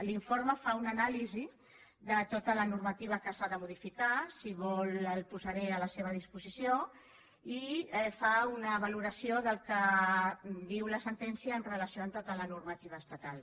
l’informe fa una anàlisi de tota la normativa que s’ha de modificar si vol el posaré a la seva disposició i fa una valoració del que diu la sentència en relació amb tota la normativa estatal